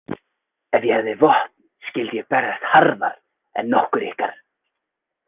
Ef ég hefði vopn skyldi ég berjast harðar en nokkur ykkar.